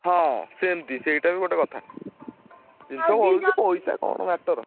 ହଁ ସେମତି ସେଇଟା ବି ଗୋଟେ କଥା| ଜିନିଷ ବଳୁଚି ପଇସା ଟା କଣ matter ।